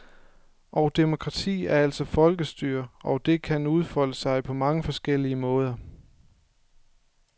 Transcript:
Og demokrati er altså folkestyre, og det kan udfolde sig på mange forskellige måder.